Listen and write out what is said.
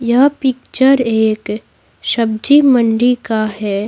यह पिक्चर एक सब्जी मंडी का है।